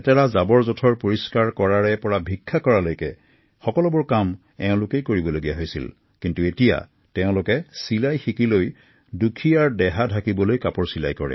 জীৱন নিৰ্বাহৰ বাবে মানুহৰ ঘৰে ঘৰে গৈ পেলনীয়া সামগ্ৰী বুটলি ফুৰা কন্যাকেইগৰাকীয়ে এতিয়া কাপোৰ চিলাই কৰিব শিকি দৰিদ্ৰতা ঢাকিবলৈ সক্ষম হৈছে